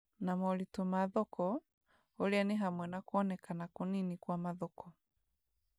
na moritũ ma thoko, ũrĩa nĩ hamwe na kuonekana kũnini kwa mathoko,